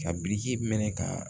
Ka biriki minɛ ka